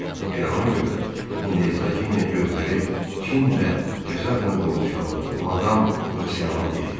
Elə ona görə də indi Hersoginya gözləri kin və qəzəblə dolmuş halda Madam Bossiana dedi.